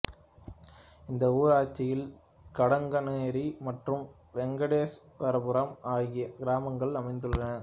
இந்த ஊராட்சியில் கடங்கனேரி மற்றும் வெங்கடேஸ்வரபுரம் ஆகிய கிராமங்கள் அமைந்துள்ளன